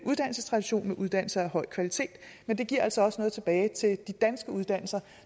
uddannelsestradition med uddannelser af høj kvalitet men det giver altså også noget tilbage til de danske uddannelser